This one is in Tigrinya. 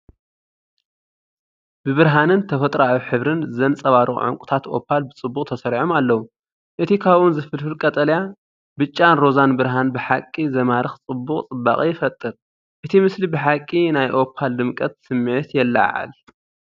ብብርሃንን ተፈጥሮኣዊ ሕብርን ዘንጸባርቑ ዕንቊታት ኦፓል ብጽቡቕ ተሰሪዖም ኣለዉ። እቲ ካብኦም ዝፍልፍል ቀጠልያ፣ ብጫን ሮዛን ብርሃን ብሓቂ ዝማርኽ ጽቡቕ ጽባቐ ይፈጥር፤ እቲ ምስሊ ብሓቂ ናይ ኦፓል ድምቀት ስምዒት የለዓዕል።